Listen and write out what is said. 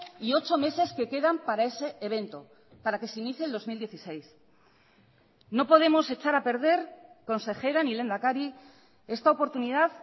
y ocho meses que quedan para ese evento para que se inicie el dos mil dieciséis no podemos echar a perder consejera ni lehendakari esta oportunidad